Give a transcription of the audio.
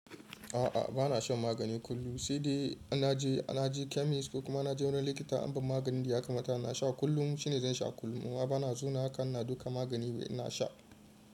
A'a, bana shan magani kullum sai dai na je na je chemist ko kuma na je wani likita anba maganin da ya kamata na sha kullum shine zan sha kullum. A'a bana zauna haka na duka magani ina sha.